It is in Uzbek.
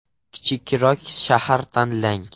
Kichikroq shahar tanlang.